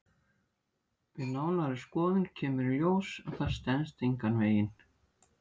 Við nánari skoðun kemur í ljós að það stenst engan veginn.